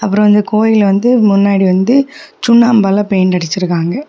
அப்ரோ வந்து கோயில் வந்து முன்னாடி வந்து சுண்ணாம்பால பெயிண்ட் அடிச்சிருக்காங்க.